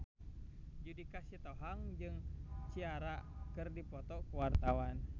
Judika Sitohang jeung Ciara keur dipoto ku wartawan